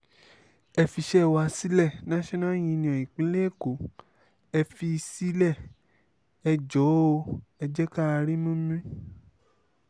ẹ fiṣẹ́ wa sílẹ̀ national union ìpínlẹ̀ èkó ẹ̀ fi sílé ẹ̀ jọ̀ọ́ ẹ̀ jẹ́ ká rímú mí